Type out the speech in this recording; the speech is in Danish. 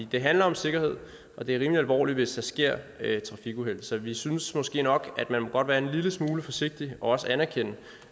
det handler om sikkerhed og det er rimelig alvorligt hvis der sker trafikuheld så vi synes måske nok at man godt må være en lille smule forsigtig og at man anerkender